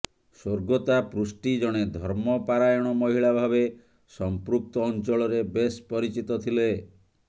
ସ୍ୱର୍ଗତା ପୃଷ୍ଟି ଜଣେ ଧର୍ମପାରାୟଣ ମହିଳା ଭାବେ ସଂପୃକ୍ତ ଅଂଚଳରେ ବେଶ ପରିଚିତ ଥିଲେ